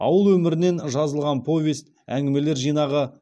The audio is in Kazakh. ауыл өмірінен жазылған повесть әңгімелер жинағы